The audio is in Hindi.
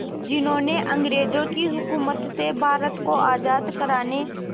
जिन्होंने अंग्रेज़ों की हुकूमत से भारत को आज़ाद कराने